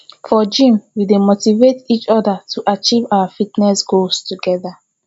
for gym we dey motivate each other to achieve our fitness goals together